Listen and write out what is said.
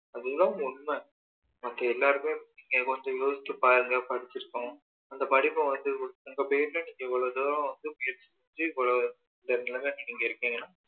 அது தான் உண்மை மற்ற எல்லாருமே நீங்க கொஞ்சம் யோசிச்சு பாருங்க படிச்சிருக்கோம் அந்த படிப்ப வந்து நீங்க எவ்வளோ தூரம் வந்து முயற்சி செஞ்சு இவ்வளோ இந்த level ல நீங்க இருக்கீங்க